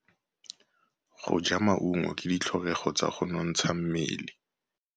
Go ja maungo ke ditlhokegô tsa go nontsha mmele.